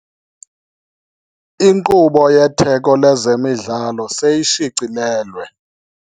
Inkqubo yetheko lezemidlalo seyishicilelwe.